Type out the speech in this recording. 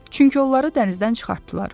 Çünki onları dənizdən çıxartdılar.